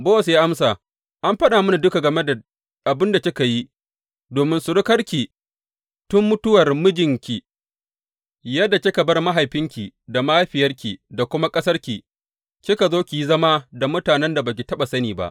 Bowaz ya amsa, An faɗa mini duka game da abin kika yi domin surukarki tun mutuwar mijinki, yadda kika bar mahaifinki da mahaifiyarki da kuma ƙasarki kika zo ki yi zama da mutanen da ba ki taɓa sani ba.